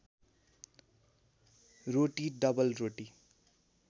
रोटी double रोटी